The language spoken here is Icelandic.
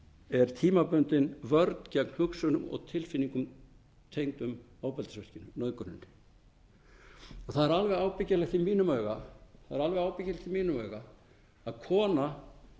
er tímabundin vörn gegn hugsunum og tilfinningum tengdum ofbeldisverkinu nauðguninni það er alveg ábyggilegt í mínum huga að kona